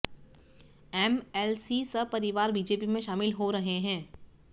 MLC सपरिवार BJP में शामिल हो रहे हैं